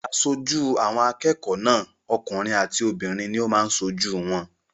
Aṣojú àwọn akẹ́kọ̀ọ́ náà okùnrin àti obìnrin ní ó máa n sojú wọn